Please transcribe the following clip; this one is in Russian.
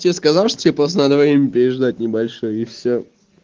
что сказал что тебе просто надо время переждать небольшое и все